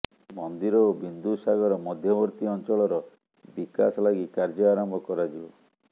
ମନ୍ଦିର ଓ ବିନ୍ଦୁସାଗର ମଧ୍ୟବର୍ତ୍ତୀ ଅଂଚଳର ବିକାଶ ଲାଗି କାର୍ଯ୍ୟ ଆରମ୍ଭ କରାଯିବ